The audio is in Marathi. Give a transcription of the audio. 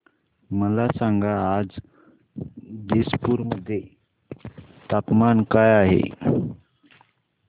मला सांगा आज दिसपूर मध्ये तापमान काय आहे